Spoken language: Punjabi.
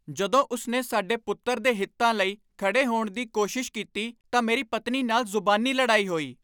ਜਦੋਂ ਉਸਨੇ ਸਾਡੇ ਪੁੱਤਰ ਦੇ ਹਿੱਤਾਂ ਲਈ ਖੜ੍ਹੇ ਹੋਣ ਦੀ ਕੋਸ਼ਿਸ਼ ਕੀਤੀ ਤਾਂ ਮੇਰੀ ਪਤਨੀ ਨਾਲ ਜ਼ੁਬਾਨੀ ਲੜਾਈ ਹੋਈ।